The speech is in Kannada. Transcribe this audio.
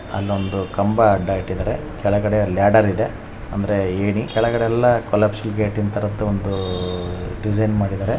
ಅಲ್ಲೊಂದು ಕಂಬ ಅಡ್ಡ ಇಟ್ಟಿದಾರೆ. ಅಲ್ಲಿ ಒಂದ್ ಲ್ಯಾಡರ್ ಇದೆ ಅಂದ್ರೆ ಏಣಿ. ಕೆಳಗಡೆ ಎಲ್ಲ ಕಾಲಾಪ್ಸ್ ತರದು ಡಿಸೈನ್ ಮಾಡಿದಾರೆ.